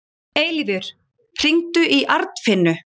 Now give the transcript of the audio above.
Eilífur, hringdu í Arnfinnu.